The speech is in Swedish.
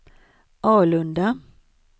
Alunda